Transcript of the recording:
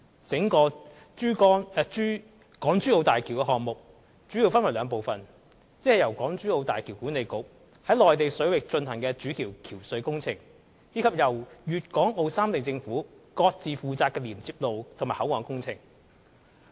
整個港珠澳大橋項目主要分為兩部分：即由港珠澳大橋管理局在內地水域進行的主橋橋隧工程，以及由粤港澳三地政府各自負責的連接路及口岸工程。